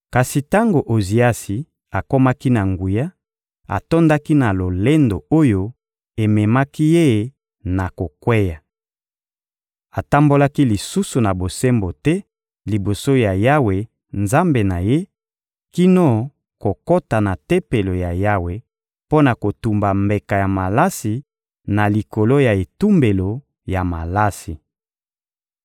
Kasi tango Oziasi akomaki na nguya, atondaki na lolendo oyo ememaki ye na kokweya. Atambolaki lisusu na bosembo te liboso ya Yawe, Nzambe na ye, kino kokota na Tempelo ya Yawe mpo na kotumba mbeka ya malasi na likolo ya etumbelo ya malasi.